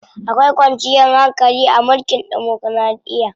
Akwai kwanciyar hankali a mulkin demokiraɗiya.